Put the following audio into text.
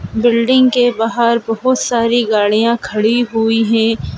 Building के बाहर बहोत सारी गाड़ियां खड़ी हुई हैं।